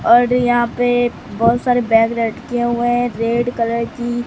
और यहां पे बहोत सारे बैग लटके हुए हैं रेड कलर की।